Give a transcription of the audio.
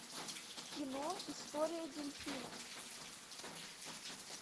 кино история дельфина